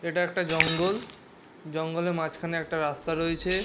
এটা একটা জঙ্গল জঙ্গলের মাঝখানে একটা রাস্তা রয়েছে।